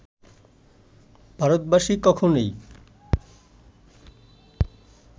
ভারতবাসী কখনোই